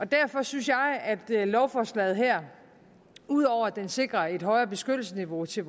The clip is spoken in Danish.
derfor synes jeg at lovforslaget her ud over at det sikrer et højere beskyttelsesniveau til